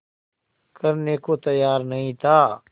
करने को तैयार नहीं था